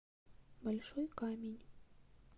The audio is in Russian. большой камень